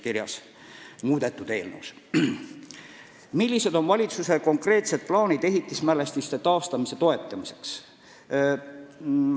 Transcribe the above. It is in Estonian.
Viies küsimus: "Millised on valitsuse konkreetsed plaanid ehitismälestiste taastamise toetamiseks?